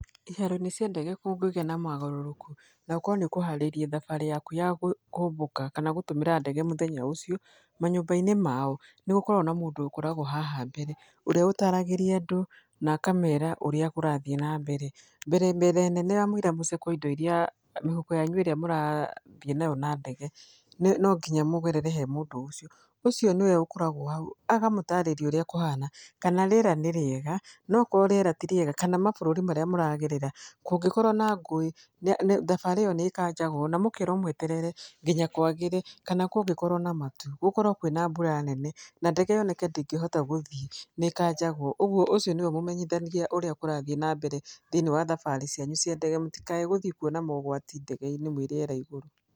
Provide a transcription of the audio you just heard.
Iharo-inĩ cia ndege kũngĩgĩa na mogarũrũku, na ũkorwo nĩ ũkũharĩrĩirie thabarĩ yaku ya kũmbũka, kana gũtũmĩra ndege mũthenya ũcio, manyũmba-inĩ mao, nĩ gũkoragwo na mũndũ ũkoragwo haha mbere, ũrĩa ũtaragĩria andũ, na akamera ũrĩa kũrathiĩ na mbere. Mbere mbere nene ya mũira mũcekwo indo irĩa mĩhuko yanyu ĩrĩa mũrathiĩ nayo na ndege, nĩ no nginya mũgerere he mũndũ ũcio. Ũcio nĩwe ũkoragwo hau, agamũtarĩria ũrĩa kũhana, kana rĩera nĩ rĩega. No okorwo rĩera ti rĩega, kana mabũrũri marĩa mũragerera, kũngĩkorwo na ngũĩ, thabarĩ ĩyo nĩ ĩkanjagwo, na mũkerwo mwetere nginya kwagĩre. Kana kũngĩkorwo na matu, gũkorwo kwĩna mbura nene, na ndege yoneke ndĩngĩhota gũthiĩ nĩ ĩkanjagwo. Ũguo, ũcio nĩwe ũmũmenyithagia ũrĩa kũrathiĩ na mbere thĩiniĩ wa thabarĩ cianyu cia ndege mũtigathiĩ kuona ũgwati mwĩ rĩera-inĩ igũrũ.